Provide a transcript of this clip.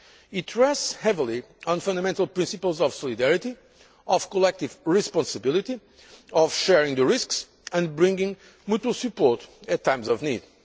It rests heavily on fundamental principles of solidarity, of collective responsibility, of sharing the risks and bringing mutual support at times of